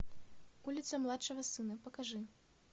улица младшего сына покажи